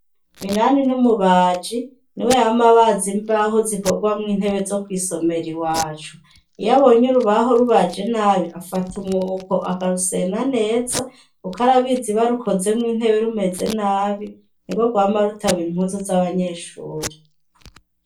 Minani n’umubaji ni we yama abaz imbaho zikorwamwo intebe zo kw'isomero i wacu iyo abonye urubaho rubaje nabi afata umwuko akarusena neza ukarabizibarukozemwo intebe rumeze nabi ni bo rwama rutabira inkuzu z'abanyeshuri.